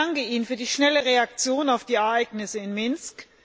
Ich danke Ihnen für die schnelle Reaktion auf die Ereignisse in Minsk.